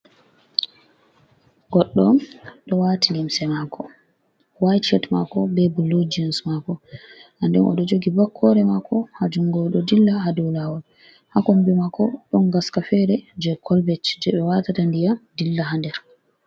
Goɗɗo ɗo waati limse maako way cet maako ,be bulu gis maako, ha nden o ɗo jogi bakkoore maako, ha junngo ɗo dilla ha dow laawol. Ha kombi maako ɗon gaska feere jey kolbet jey ɓe waatata ndiyam dilla ha nder.